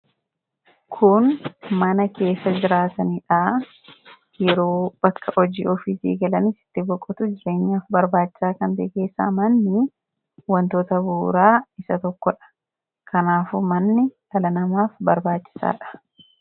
Kun mana keessaa jiraatanidha. Yeroo bakka hojii ofiitii galan itti boqochuuf jireenyaaf barbaachisa. Manni wantoota bu'uuraa keessaa isa tokkodha. Kanaafuu manni dhala namaaf barbaachisaadha.